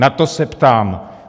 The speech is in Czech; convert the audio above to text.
Na to se ptám.